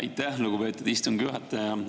Aitäh, lugupeetud istungi juhataja!